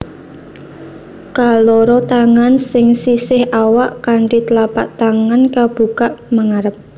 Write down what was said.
Kaloro tangan ing sisih awak kanthi tlapak tangan kabukak mangarep